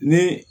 Ni